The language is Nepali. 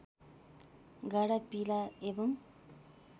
गाढा पीला एवं